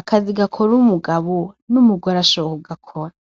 akazi gakora umugabo n'umugore ashoboye kugakora.